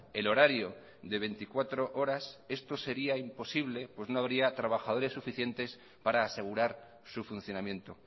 el horario de veinticuatro horas esto sería imposible pues no habría trabajadores suficientes para asegurar su funcionamiento